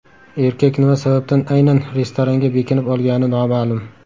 Erkak nima sababdan aynan restoranga bekinib olgani noma’lum.